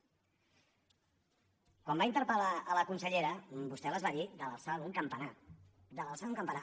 quan va interpel·lar la consellera vostè les va dir de l’alçada d’un campanar de l’alçada d’un campanar